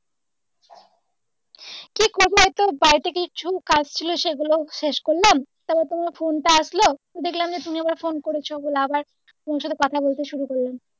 কী করবো বাড়িতে কিছু কাজ ছিল সেগুলো শেষ করলাম তারপর তোমার phone টা আসলো দেখলাম তুমি আবার phone করেছো বলে আবার তোমার সাথে কোথা বলতে শুরু করলাম।